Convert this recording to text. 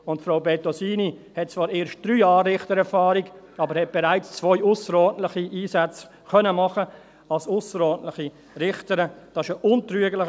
Und Frau Bettosini hat zwar erst 3 Jahre Richtererfahrung, hat aber bereits zwei ausserordentliche Einsätze als ausserordentliche Richterin machen können.